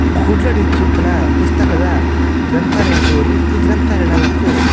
ಕುಡ್ಲಡಂಚಿಪ್ಪುನ ಪುಸ್ತಕದ ಗ್ರಂಥಾಲಯ ತೂವೊಲಿ ಈ ಗ್ರಂಥಾಲಯ ನಮಕ್ --